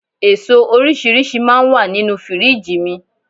Èso oríṣiríṣi máa ń wà nínú Fírìjì mi